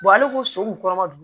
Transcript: ale ko so kun kɔrɔba don